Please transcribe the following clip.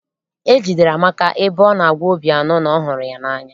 E jidere Amaka ebe ọ na-agwa Obiano na ọ hụrụ ya n'anya.